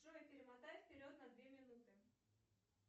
джой перемотай вперед на две минуты